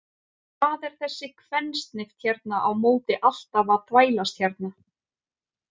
Hvað er þessi kvensnift hérna á móti alltaf að þvælast hérna?